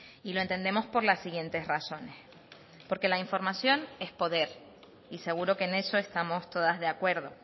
y lo entendemos por las siguientes razones porque la información es poder y seguro que en eso estamos todas de acuerdo